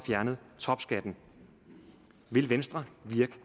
fjernet topskatten vil venstre